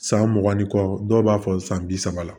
San mugan ni kɔ dɔw b'a fɔ san bi saba la